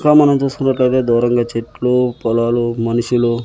ఇంకా మనం చూసుకున్నట్లయితే దూరంగా చెట్లు పొలాలు మనుషులు--